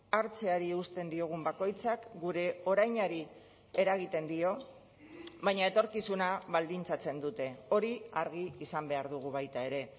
hartzeari eusten diogun bakoitzak gure orainari eragiten dio baina etorkizuna baldintzatzen dute hori argi izan behar dugu baita ere